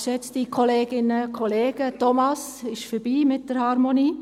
Thomas Knutti, es ist vorbei mit der Harmonie!